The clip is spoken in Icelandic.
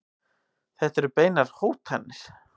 Þetta eru beinar hótanir.